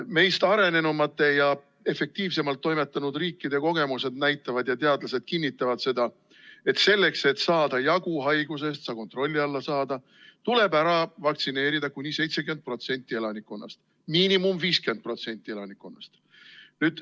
Meist arenenumate ja efektiivsemalt toimetanud riikide kogemused näitavad ja ka teadlased kinnitavad seda, et selleks, et haigusest jagu saada, see kontrolli alla saada, tuleb vaktsineerida kuni 70% elanikkonnast, minimaalselt 50% elanikkonnast.